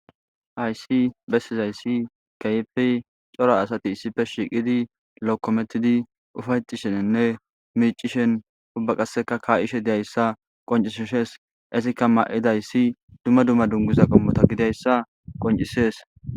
aysi bessizayssi keyfi coro asati issife shiiqidi lokkomettidi ufaycisheninne miicishen ubba qasseka ka7ishe deyayssa qoncisishes isikka ma7idayssi dumma dumma dunguza qommota gidayssa qoncisees